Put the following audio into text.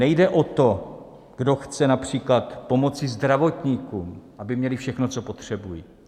Nejde o to, kdo chce například pomoci zdravotníkům, aby měli všechno, co potřebují.